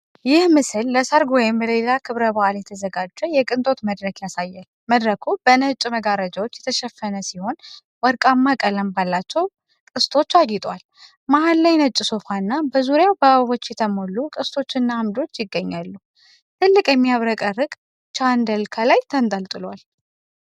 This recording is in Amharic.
ይህ ምስል ለሠርግ ወይም ለሌላ ክብረ በዓል የተዘጋጀ የቅንጦት መድረክ ያሳያል። መድረኩ በነጭ መጋረጃዎች የተሸፈነ ሲሆን፣ ወርቃማ ቀለም ባላቸው ቅስቶች አጊጧል። መሃል ላይ ነጭ ሶፋ እና በዙሪያው በአበቦች የተሞሉ ቅስቶችና አምዶች ይገኛሉ። ትልቅ የሚያብረቀርቅ ቻንደል ከላይ ተንጠልጥሏል።